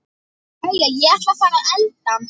Jæja, ég ætla að fara að elda.